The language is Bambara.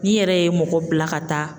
N'i yɛrɛ ye mɔgɔ bila ka taa.